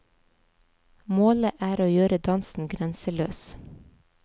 Målet er å gjøre dansen grenseløs.